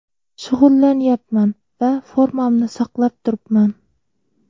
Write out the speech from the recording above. Shug‘ullanyapman va formamni saqlab turibman.